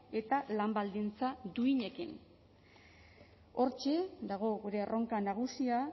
eta lan baldintza duinekin hortxe dago gure erronka nagusia